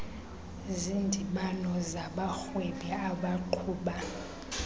zindibano zabarhwebi abaqhuba